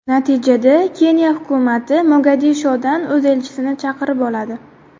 Natijada Keniya hukumati Mogadishodan o‘z elchisini chaqirib oladi.